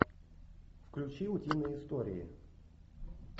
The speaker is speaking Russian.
включи утиные истории